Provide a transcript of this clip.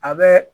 A bɛ